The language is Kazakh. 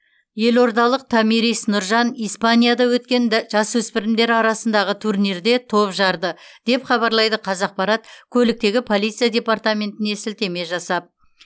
елордалық томирис нұржан испанияда өткен да жасөспірімдер арасындағы турнирде топ жарды деп хабарлайды қазақпарат көліктегі полиция департаментіне сілтеме жасап